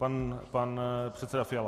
Pan předseda Fiala.